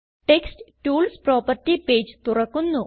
text tools property page തുറക്കുന്നു